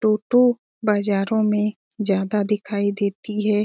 टोटो बाजारों मे ज्यादा दिखाई देती है।